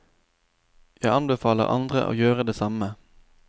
Jeg anbefaler andre å gjøre det samme.